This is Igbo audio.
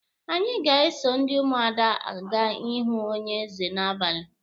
Anyị ga-eso ndị Ụmụada aga ịhụ onye eze n'abalị